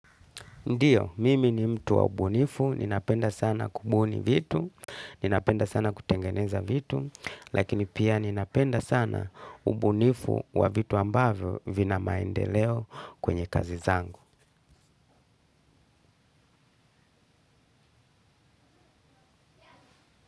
Ndiyo, mimi ni mtu wa ubunifu, ninapenda sana kubuni vitu, ninapenda sana kutengeneza vitu, lakini pia ninapenda sana ubunifu wa vitu ambavyo vina maendeleo kwenye kazi zangu.